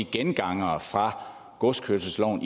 gengangere fra godskørselsloven